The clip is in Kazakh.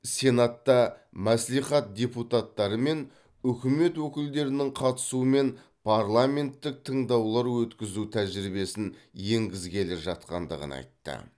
сенатта мәслихат депутаттары мен үкімет өкілдерінің қатысуымен парламенттік тыңдаулар өткізу тәжірибесін енгізгелі жатқандығын айтты